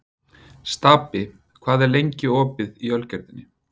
Stapi, hvað er lengi opið í Ölgerðinni?